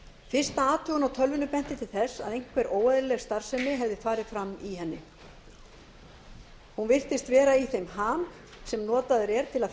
fyrsta athugun á tölvunni benti til þess að einhver óeðlileg starfsemi hefði farið fram í henni hún virtist vera í þeim ham sem notaður er til að